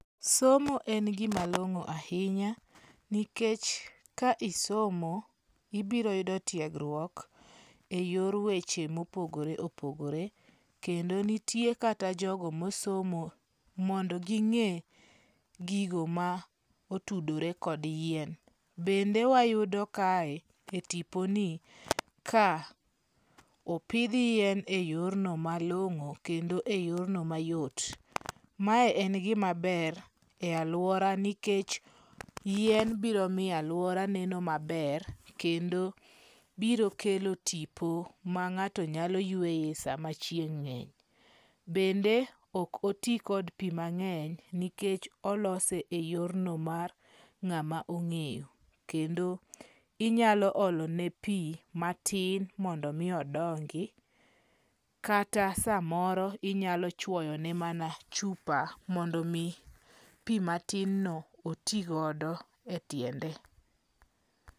Somo en gima long'o ahinya nikech ka isomo , ibiro yuod tiegruok e yor weche mopogore opogore. Kendo nitie kata jogo mosomo mondo ging'e gigo ma otudore kod yien. Bende wayudo kae e tiponi ka opidh yieno e yor malong'o kendo e yorno mayot. Mae en gima ber e alwora nikech yien biro miyo alwora neno maber kendo birokelo tipo ma ng'ao nyalo yweye sama chieng' ng'enye. Bende ok oti kod pi mang'eny nikech olose e yorno mar ng'ama ong'eyo. Kendo inyalo olone pi matin mondo odongi. Kata samoro inyalo chuoyone mana chupa mondo mi pi matin no otigodo e tiende.